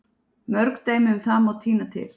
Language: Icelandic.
Mörg dæmi um það má tína til.